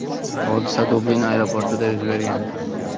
Hodisa Dublin aeroportida yuz bergan.